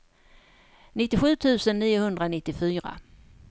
nittiosju tusen niohundranittiofyra